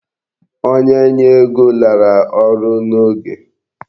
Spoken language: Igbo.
Onye nye ego lara ọrụ n"oge.